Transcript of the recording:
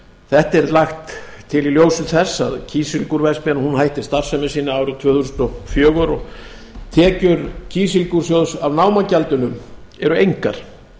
þetta er lagt til í ljósi þess að kísilgúrverksmiðjan hætti starfsemi sinni árið tvö þúsund og fjögur og tekjur kísilgúrsjóðs af námagjaldinu eru engar